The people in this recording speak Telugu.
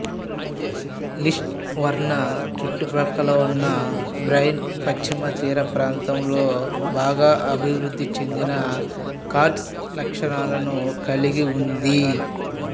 లిస్డూవర్నా చుట్టుపక్కల ఉన్న బర్రెన్ పశ్చిమతీరప్రాంతంలో బాగా అభివృద్ధి చెందిన కార్స్ట్ లక్షణాలను కలిగి ఉంది